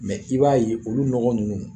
Mɛ i b'a ye olu nɔgɔ ninnu